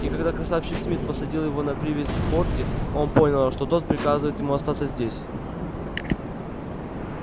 и когда красавчик смит посадил его на привязь в форте он понял что тог приказывает ему остаться здесь